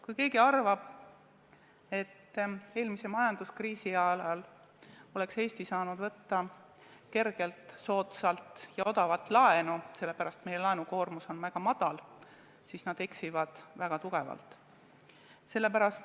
Kui keegi arvab, et eelmise majanduskriisi ajal oleks Eesti saanud kergelt soodsat ja odavat laenu võtta, sellepärast et meie laenukoormus oli väga väike, siis nad eksivad väga tugevalt.